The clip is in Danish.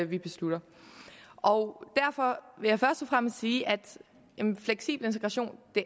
vi beslutter og derfor vil jeg først og fremmest sige at fleksibel integration